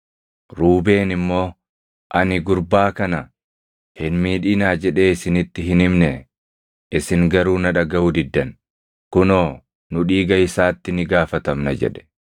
Ruubeen immoo, “Ani, ‘Gurbaa kana hin miidhinaa’ jedhee isinitti hin himnee? Isin garuu na dhagaʼuu diddan! Kunoo nu dhiiga isaatti ni gaafatamna” jedhe.